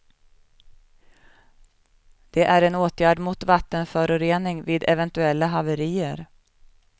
Det är en åtgärd mot vattenförorening vid eventuella haverier.